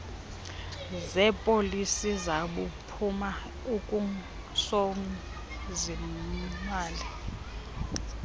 zeepolisi zaphuma ungusozimali